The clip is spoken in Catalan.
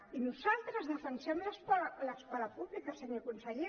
i nosaltres defensem l’escola pública senyor conseller